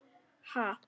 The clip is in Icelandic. Ha?